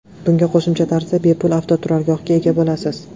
Bunga qo‘shimcha tarzda bepul avtoturargohga ega bo‘lasiz.